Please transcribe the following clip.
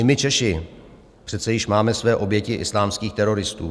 I my Češi přece již máme své oběti islámských teroristů.